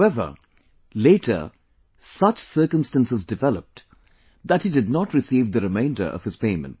However, later such circumstances developed, that he did not receive the remainder of his payment